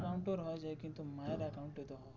হয়ে যাই কিন্তু মায়ের account হয় না.